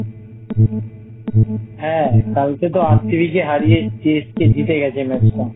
হ্যাঁ কালকে তো RCB কে হারিয়ে CSK জিতে গেছে Match টা